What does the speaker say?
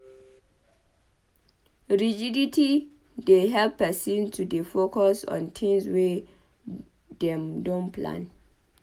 Rigidity dey help person to dey focused on tins wey dem don plan